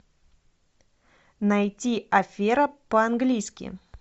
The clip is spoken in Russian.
найти афера по английски